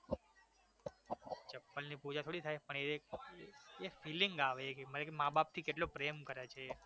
ચપ્પલની પુજા થોડી થાય? પણ એ એક feeling આવે એક ભઈ મા બાપથી કેટલો પ્રેમ કરે છે એ